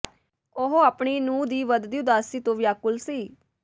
ਉਹ ਆਪਣੀ ਨੂੰਹ ਦੀ ਵਧਦੀ ਉਦਾਸੀ ਤੋਂ ਵਿਆਕੁਲ ਸੀ